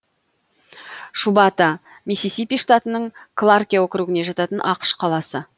шубата миссисипи штатының кларке округіне жататын ақш қаласы